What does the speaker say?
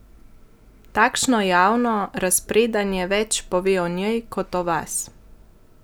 Takšno javno razpredanje več pove o njej kot o vas!